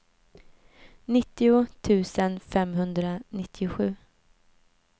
nittio tusen femhundranittiosju